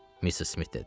Missis Smit dedi.